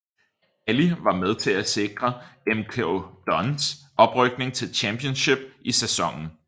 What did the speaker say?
Alli var med til at sikre MK Dons oprykning til Championship i sæsonen